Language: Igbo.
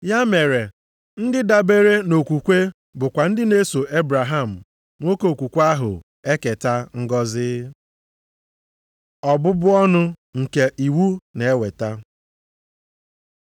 Ya mere, ndị dabeere nʼokwukwe bụkwa ndị na-eso Ebraham, nwoke okwukwe ahụ eketa ngọzị. Ọbụbụ ọnụ nke iwu na-eweta